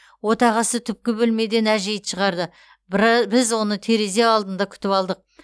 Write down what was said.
отағасы түпкі бөлмеден әжейді шығарды біз оны терезе алдында күтіп алдық